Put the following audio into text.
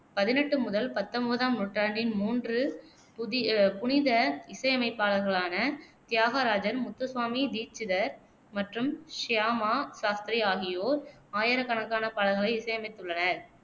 பதினெட்டு முதல் பத்தொன்பதாம் நூற்றாண்டின் மூன்று புது புனித இசையமைப்பாளர்களான தியாகராஜர், முத்துசுவாமி தீட்சிதர் மற்றும் ஷ்யாமா சாஸ்திரி ஆகியோர் ஆயிரக்கணக்கான பாடல்களை இசையமைத்துள்ளனர்,